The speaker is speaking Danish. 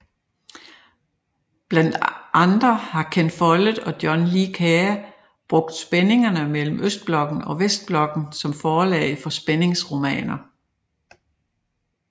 Blandt andre har Ken Follett og John Le Carré brugt spændingerne mellem Østblokken og Vestblokken som forlag for spændingsromaner